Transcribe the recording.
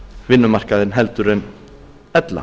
vinnumarkaðinn heldur en ella